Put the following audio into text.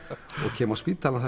kem á spítalann